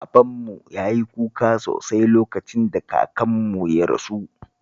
Babanmu ya yi kuka sosai lokacin da kakanmu ya rasu